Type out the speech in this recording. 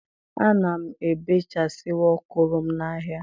A na m ebechasịwa ọkụrọ m na-ahịa.